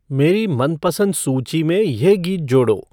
मेरी मनपसंद सूची में यह गीत जोड़ो